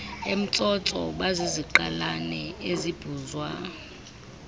emtsotso baziziqalane ezibhuzwa